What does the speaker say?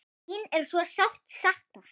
Þín er svo sárt saknað.